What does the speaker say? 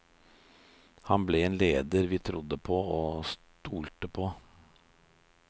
Han ble en leder vi trodde på og stolte på.